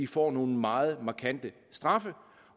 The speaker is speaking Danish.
får nogle meget markante straffe